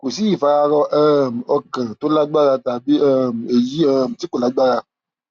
kò sí ìfararọ um ọkàn tó lágbára tàbí um èyí um tí kò lágbára